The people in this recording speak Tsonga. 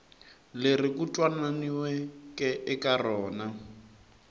leri ku twananiweke eka rona